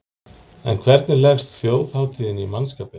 En hvernig leggst þjóðhátíðin í mannskapinn?